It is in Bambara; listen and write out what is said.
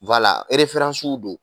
don